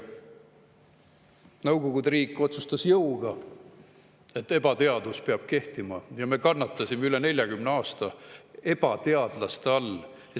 Nõukogude riik otsustas jõuga, et ebateadus peab kehtima, ja me kannatasime üle 40 aasta ebateaduse all.